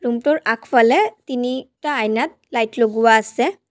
Room টোৰ আগফালে তিনিটা আইনাত লাইট লগোৱা আছে।